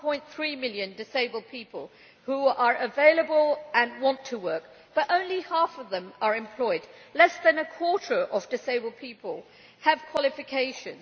1.3 million disabled people who are available and want to work, but only half of them are employed. Less than a quarter of disabled people have qualifications.